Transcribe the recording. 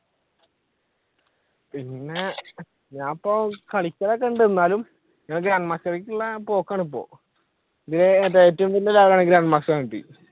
പിന്നെ ഞാനിപ്പോ കളികളൊക്കെ ഉണ്ട് എന്നാലും പോക്കാണ് ഇപ്പൊ